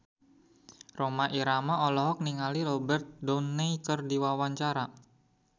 Rhoma Irama olohok ningali Robert Downey keur diwawancara